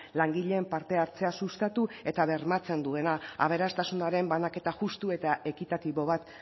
langileen parte hartzea sustatu eta bermatzen duena aberastasunaren banaketa justu eta ekitatibo bat